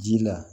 Ji la